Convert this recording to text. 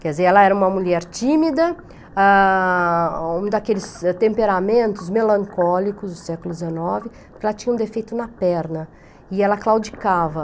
Quer dizer, ela era uma mulher tímida, ah, um daqueles temperamentos melancólicos do século dezenove, porque ela tinha um defeito na perna e ela claudicava.